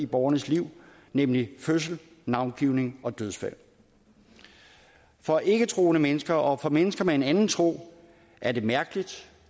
borgernes liv nemlig fødsel navngivning og dødsfald for ikketroende mennesker og for mennesker med en anden tro er det mærkeligt